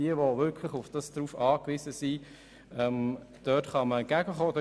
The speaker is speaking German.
Wer wirklich darauf angewiesen ist, dem kann man meines Erachtens entgegenkommen.